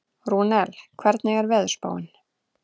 Rúnel, hvernig er veðurspáin?